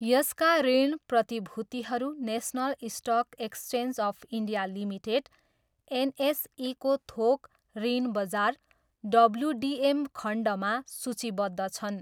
यसका ऋण प्रतिभूतिहरू national stock exchange of India limited, एनएसईको थोक ऋण बजार डब्ल्युडिएम खण्डमा सूचीबद्ध छन्।